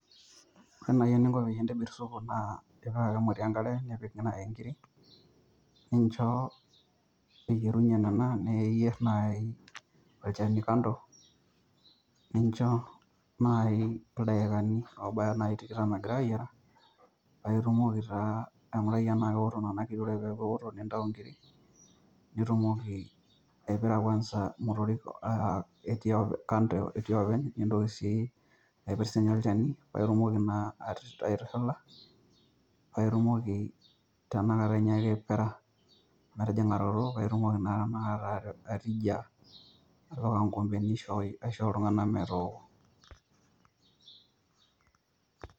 Ore naaji eningo pee ntobirr isupu naa ipik ake emoti enkare nipik enkirri ninjo eyierunyie nena nipik naayi olchani kando ninjo naayi ildaikani oobaya tikitam egira aayiara paa itumoki taa ainkurai enaa keoto nena kiri ore peeku eoto nena kiri nintayu nitumoki aipirra kwanza nena motorik etii kando, nindoki sii aipir sii ninye olchani nindok nitumoki naa aitushula, paa itumoki tanakata ainyiaki aipirra, paa itumoki naa tanakata atija atipika inkoombeni aishooyo aisho oltungani metooko.